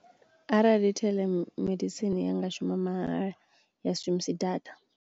Arali theḽemedisini ya nga shuma mahala ya si shumisi data.